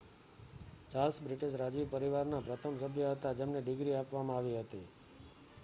Charles British રાજવી પરિવારના પ્રથમ સભ્ય હતા જેમને ડિગ્રી આપવામાં આવી હતી